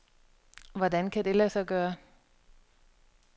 Hvordan det kan lade sig gøre?